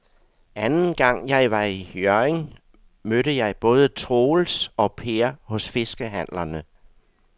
Anden gang jeg var i Hjørring, mødte jeg både Troels og Per hos fiskehandlerne.